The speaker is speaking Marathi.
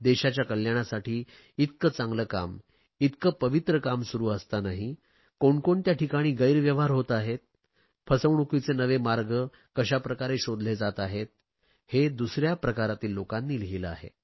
देशाच्या कल्याणासाठी इतके चांगले काम इतके पवित्र काम सुरु असतानांही कोणकोणत्या ठिकाणी गैरव्यवहार होत आहे फसवणूकीचे नवे मार्ग कशाप्रकारे शोधले जात आहेत हे दुसऱ्या प्रकारातील लोकांनी लिहिले आहे